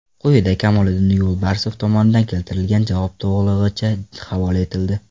Quyida Kamoliddin Yo‘lbarsov tomonidan keltirilgan javob to‘lig‘icha havola etildi.